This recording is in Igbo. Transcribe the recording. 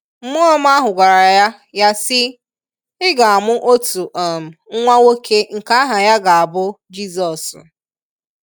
Mmụọ ọma ahụ gwara ya ya sị “ Ị ga-amụ otu um nwa nwoke nke aha ya ga-abụ jisọs.